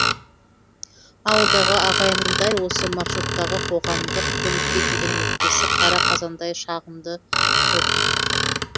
ауылдағы ағайынның дәл осы маршруттағы қоғамдық көлікке деген өкпесі қара қазандай шағымды көп